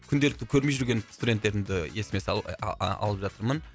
күнделікті көрмей жүрген студенттерімді есіме ы а алып жатырмын